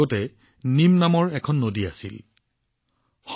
আগতে ইয়াত নিম নামৰ নদী এখন আছিল বহু দিনৰ আগতে